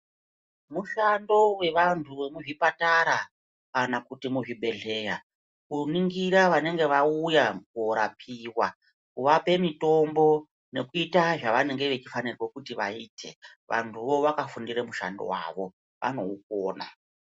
Mushando wevanhu vemuzvipatara kana kuti muzvibhedleya kuringira vanenge vawuya kuhorapiwa kuwape mitombo nekuita zvavanenge vachifanirwa kuti vaite, vanhuwo vakafundire mushando wavo vanowukona.